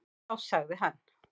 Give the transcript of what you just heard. Þá sagði hann: